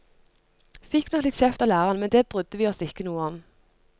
Fikk nok litt kjeft av læreren, men det brydde vi oss ikke noe om.